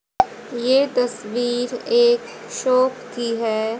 ये तस्वीर एक शॉप की है।